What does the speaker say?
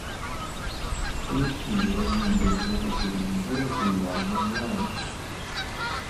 включи режим без звука телевизора в бильярдном зале